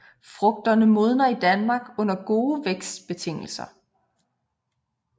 Frugterne modner i Danmark under gode vækstbetingelser